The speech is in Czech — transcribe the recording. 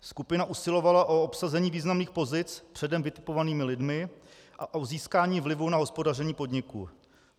Skupina usilovala o obsazení významných pozic předem vytipovanými lidmi a o získání vlivu na hospodaření podniku.